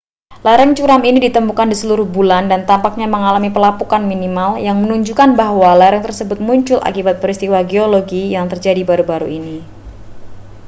lereng curam ini ditemukan di seluruh bulan dan tampaknya mengalami pelapukan minimal yang menunjukkan bahwa lereng tersebut muncul akibat peristiwa geologi yang terjadi baru-baru ini